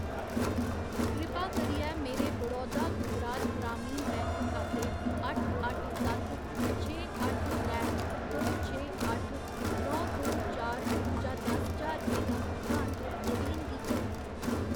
कृपा करियै मेरे बड़ौदा गुजरात ग्रामीण बैंक खाते अट्ठ अट्ठ सत्त छे अट्ठ त्रै दो छे अट्ठ नौ दो चार चा दस ज्हार रपेऽ दा भुगतान नवीन गी करो।